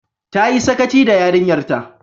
Ta yi sakaci da yarinyar ta